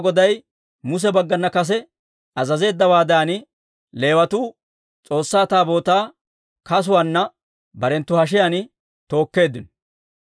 Med'inaa Goday Muse baggana kase azazeeddawaadan, Leewatuu S'oossaa Taabootaa kasuwaanna barenttu hashiyaan tookkeeddino.